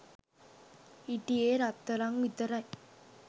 හිටියේ රත්තරං විතරයි.